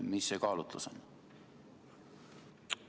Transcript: Mis kaalutlusel te seda teete?